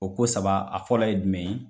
O ko saba a fɔlɔ ye jumɛn ye?